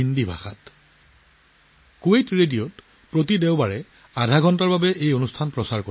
আধা ঘণ্টা ধৰি প্ৰতি দেওবাৰে 'কুৱেইট ৰেডিঅ"ত সম্প্ৰচাৰ কৰা হয়